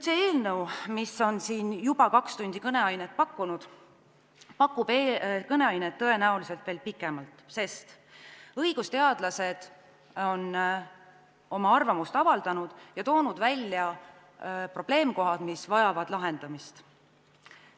See eelnõu, mis on siin juba kaks tundi kõneainet pakkunud, pakub kõneainet tõenäoliselt veel pikemalt, sest õigusteadlased on oma arvamuse avaldanud ja toonud välja probleemkohad, mis vajavad lahendamist.